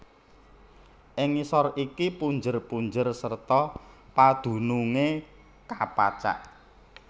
Ing ngisor iki punjer punjer serta padunungé kapacak